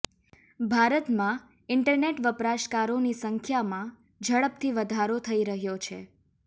ભારતમાં ઇન્ટરનેટ વપરાશકારોની સંખ્યામાં ઝડપથી વધારો થઈ રહ્યો છે